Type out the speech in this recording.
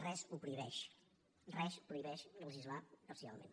res ho prohibeix res prohibeix legislar parcialment